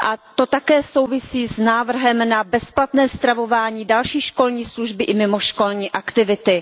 To také souvisí s návrhem na bezplatné stravování, další školní služby i mimoškolní aktivity.